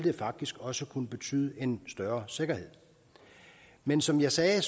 faktisk også kunne betyde en større sikkerhed men som jeg sagde